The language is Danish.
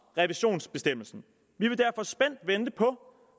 revisionsbestemmelsen vi vil derfor spændt vente på